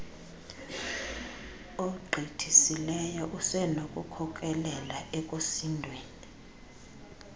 ogqithisileyo usenokukhokelela ekusindweni